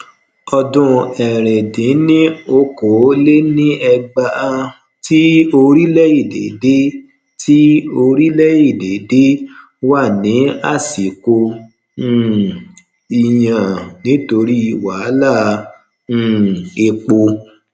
Ọdún ẹrin dín ní okòóléníẹgbàá tí orílèèdè de tí orílèèdè de wá ní àsìkò um ìyàn nítorí wàhálà um èpò